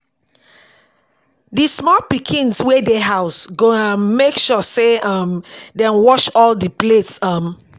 di small pikins wey dey house go um mek sure say um dem wash all di plates um